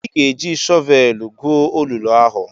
Ị ga-eji shọvelụ gwuo olulu ahụ!